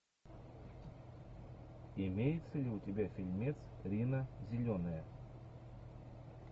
имеется ли у тебя фильмец рина зеленая